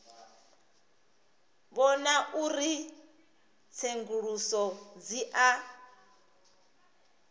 vhona uri tsenguluso dzi a